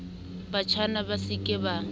batjhana ba se ke ba